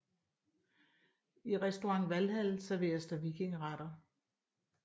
I Restaurant Valhall serveres der vikingeretter